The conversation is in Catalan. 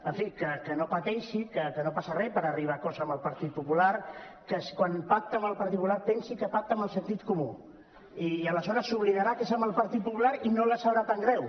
en fi que no pateixi que no passa res per arribar a acords amb el partit popular que quan pacta amb el partit popular pensi que pacta amb el sentit comú i aleshores s’oblidarà que és amb el partit popular i no li sabrà tan greu